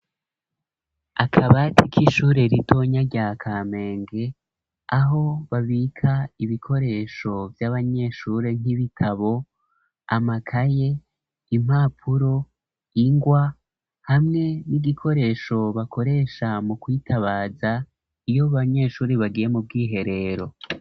Akabati k 'ishure ritonya rya kamenge aho babika ibikoresho ,vy'abanyeshuri nk'ibitabo, amakaye, impapuro ,ingwa hamwe n'igikoresho bakoresha mu kwitabaza iyo banyeshuri bagiye mu bw'iherero.